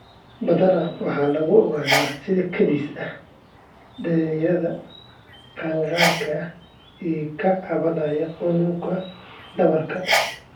Badanaa waxaa lagu ogaadaa si kadis ah dhalinyarada qaangaarka ah ee ka cabanaya xanuunka dhabarka.